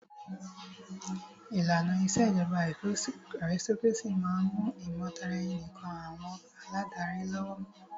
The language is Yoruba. ìlànà ìṣèjọba aristocrácy máà ń mú ìmọ̀taraẹni nìkàn àwọn aládarí lọ́wọ́.